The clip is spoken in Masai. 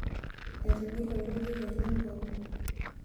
etigile olorika le mpapa